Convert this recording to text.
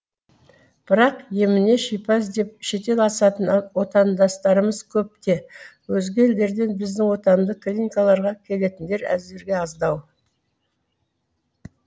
бірақ еміне шипа іздеп шетел асатын отандастарымыз көп те өзге елдерден біздің отандық клиникаларға келетіндер әзірге аздау